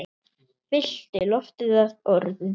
Fyllti loftið af orðum.